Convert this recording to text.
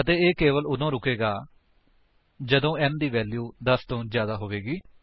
ਅਤੇ ਇਹ ਕੇਵਲ ਤੱਦ ਰੁਕੇਗਾ ਜਦੋਂ n ਦੀ ਵੈਲਿਊ 10 ਤੋਂ ਜਿਆਦਾ ਹੋ ਜਾਵੇਗੀ